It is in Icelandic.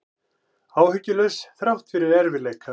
Áhyggjulaus þrátt fyrir erfiðleika